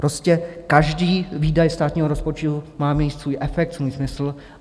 Prostě každý výdaj státního rozpočtu má mít svůj efekt, svůj smysl.